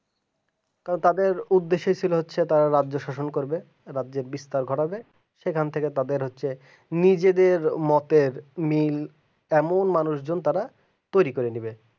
তো তাদের উদ্দেশ্য ছিল তারা রাজ্য শোষণ করবে রাজ্যে বিষ্ঠার ঘটাবে এখান থেকে তাদের হচ্ছে নিজেদের মতে লিন এমন মানুষ জন তারা তৈরি করে দেবে